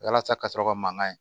Walasa ka sɔrɔ ka mangan ye